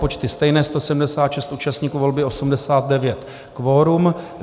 Počty stejné - 176 účastníků volby, 89 kvorum.